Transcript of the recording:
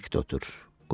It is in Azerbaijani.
Sakit otur.